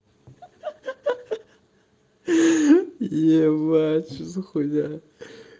ха-ха ебать что за хуйня